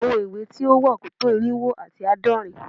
àwọn ìwé tí ó wà kò tó irínwó àti àádọ́rin